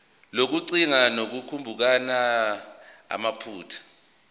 lokugcina ngokucubungula amaphutha